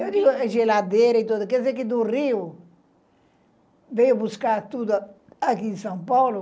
Eu digo geladeira e tudo, quer dizer que do Rio veio buscar tudo aqui em São Paulo.